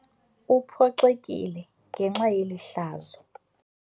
Uphoxekile ngenxa yeli hlazo.